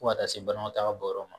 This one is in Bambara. fo ka taa se banakɔtaa bɔyɔrɔ ma